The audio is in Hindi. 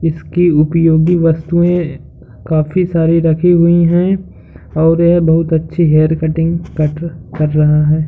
इसके उपयोगी वस्तुएं काफी सारी रखी हुई हैं और यह बहोत अच्छी हेयर कटिंग कट कर रहा है।